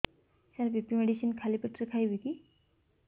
ସାର BP medicine ଖାଲି ପେଟରେ ଖାଇବି କି